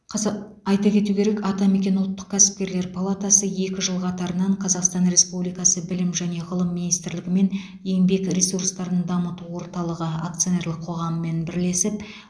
қызық айта кету керек атамекен ұлттық кәсіпкерлер палатасы екі жыл қатарынан қазақстан республикасы білім және ғылым министрлігі мен еңбек ресурстарын дамыту орталығы акционерлік қоғамымен бірлесеп